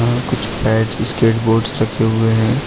यहां कुछ स्केटबोर्ड रखे हुए हैं।